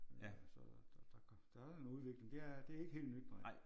Så der er en udvikling ja det er ikke helt nyt nej